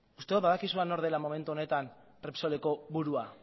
uste dut badakizuela nor den momentu honetan repsoleko burua